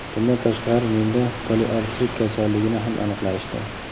Bundan tashqari, menda poliartrit kasalligini ham aniqlashdi.